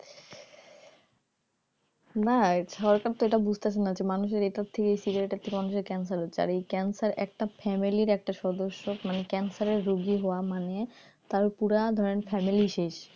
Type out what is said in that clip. না সরকার তো এটা বুঝতেছেনা যে মানুষের এটার থেকেই cigarette এর থেকে মানুষের cancer হচ্ছে আর এই cancer একটা family এর একটা সদস্য মানে cancer এর রোগী হওয়া মানে তার পুরা ধরেন family শেষ